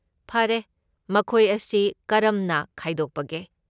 ꯐꯔꯦ, ꯃꯈꯣꯏ ꯑꯁꯤ ꯀꯔꯝꯅ ꯈꯥꯏꯗꯣꯛꯄꯒꯦ?